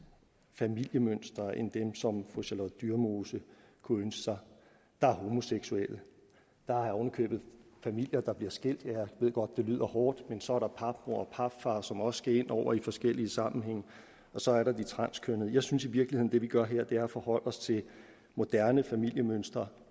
familiemønstre end dem som fru charlotte dyremose kunne ønske sig der er homoseksuelle der er oven i købet familier der bliver skilt jeg ved godt det lyder hårdt men så er der papmor og papfar som også skal ind over i forskellige sammenhænge og så er der de transkønnede jeg synes i virkeligheden at det vi gør her er at forholde os til moderne familiemønstre